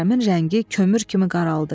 Kərəmin rəngi kömür kimi qaraldı.